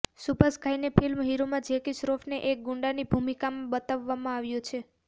સુભાષ ઘાઈની ફિલ્મ હીરોમાં જેકી શ્રોફને એક ગુંડાની ભૂમિકામાં બતાવવામાં આવ્યો છે